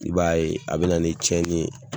I b'a ye a bɛ na ni cɛnni ye